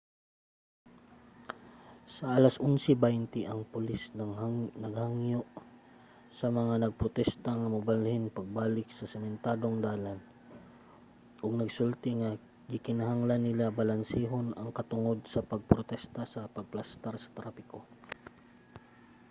sa 11:20 ang pulis naghangyo sa mga nagprotesta nga mobalhin pagbalik sa sementadong dalan ug nagsulti nga gikinahanglan nila balansehon ang katungod sa pagprotesta sa pagplastar sa trapiko